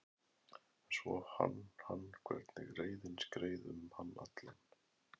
En svo fann hann hvernig reiðin skreið um hann allan.